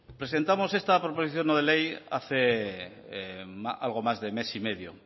presentamos esta proposición no de ley hace algo más de mes y medio